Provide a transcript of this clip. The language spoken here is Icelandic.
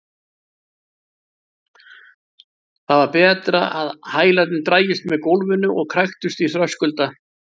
Það var betra en að hælarnir drægjust með gólfinu og kræktust í þröskulda.